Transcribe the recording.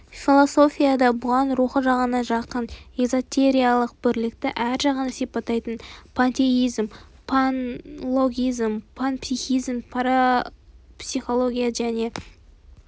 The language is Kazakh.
философияда бұған рухы жағынан жақын эзотериялық бірлікті әр жағынан сипаттайтын пантеизм панлогизм панпсихизм парапсихология және